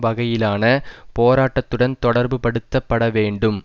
வகையிலான போராட்டத்துடன் தொடர்புபடுத்தப்பட வேண்டும்